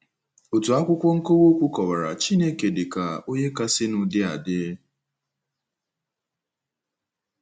Otu akwụkwọ nkọwa okwu kọwara “ Chineke ” dị ka “ onye kasịnụ dị adị .”